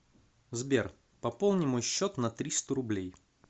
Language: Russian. сбер пополни мой счет на триста рублей